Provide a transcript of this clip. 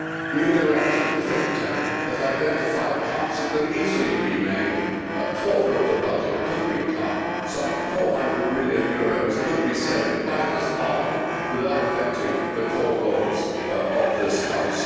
New Direction, the think tank, has identified cuts that could easily have been made a quarter of the budget could be cut, some EUR 400 million could be saved by this Parliament without affecting the core roles of this House.